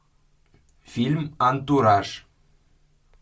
фильм антураж